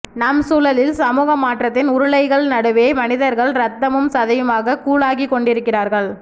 நம் சூழலில் சமூக மாற்றத்தின் உருளைகள் நடுவே மனிதர்கள் ரத்தமும் சதையுமாக கூழாகிக்கொண்டிருக்கிறார்கள்